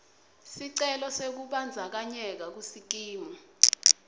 sicelo sekubandzakanyeka kusikimu